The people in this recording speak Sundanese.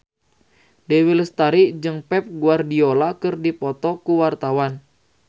Dewi Lestari jeung Pep Guardiola keur dipoto ku wartawan